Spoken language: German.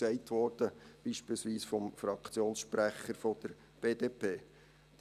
Das wurde beispielsweise vom Fraktionssprecher der BDP gesagt.